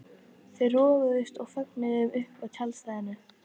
Þau roguðust með farangurinn upp að tjaldstæðinu.